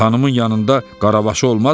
Xanımın yanında qaravaşı olmazmı?